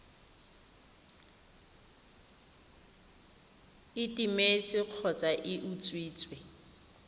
e timetse kgotsa e utswitswe